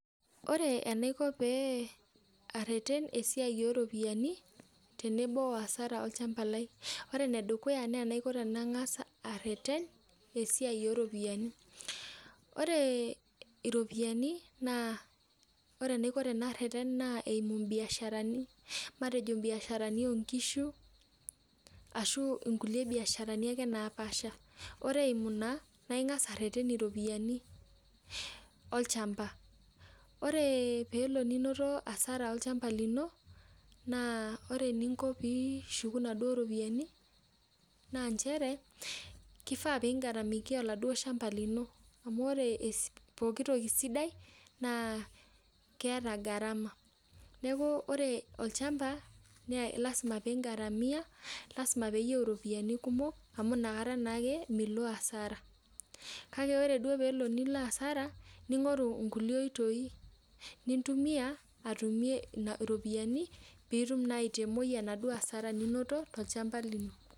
Ore enaiko pareten esiai oropiyiani tenebo oasara olchamba lai ore enedukuya na enangasa aiko na ore enaiko tanareten na eimu mbiasharani matejo mbiasharani onkishu ashu nkulie biasharani napaasha ore eimu ina na ingasa arwten ropiyani olchamba ore pinoto asara tolchamba lino ore eninko pishuku ropiyani na nchere kifaa pingaramia oladuo shamba lino amu ore pooki toki sidai na lasima pingaramia lasima peyieu ropiyani kumok amu nakata milo asara kake ore duo pilo asara ningoru enitumie ropiyani pitumoki aitogolie asara tolchamba lino